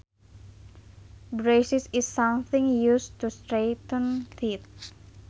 Braces is something used to straighten teeth